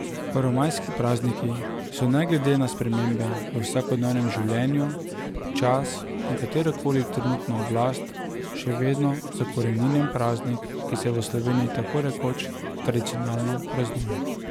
Prvomajski prazniki so ne glede na spremembe v vsakodnevnem življenju, čas in katero koli trenutno oblast še vedno zakoreninjen praznik, ki se v Sloveniji tako rekoč tradicionalno praznuje.